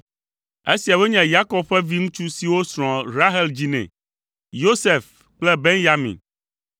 Esiawoe nye Yakob ƒe viŋutsu siwo srɔ̃a Rahel dzi nɛ: Yosef kple Benyamin.